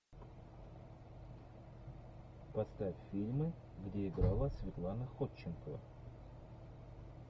поставь фильмы где играла светлана ходченкова